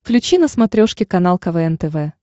включи на смотрешке канал квн тв